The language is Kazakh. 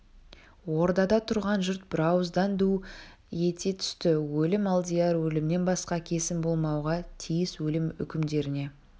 ордада тұрған жұрт бірауыздан ду ете түсті өлім алдияр өлімнен басқа кесім болмауға тиіс өлім үкімдеріңе